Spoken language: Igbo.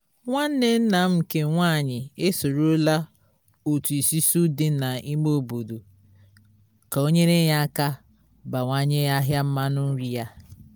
nwanne nna m nke nwanyị e sorola otu isusu di na ime obodo ka o nyere ya aka bawanye ahịa mmanụ nri ya